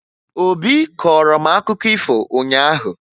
Obi kọọrọ m akụkọ ifo ụnyaahụ